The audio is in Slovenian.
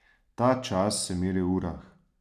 Ta čas se meri v urah.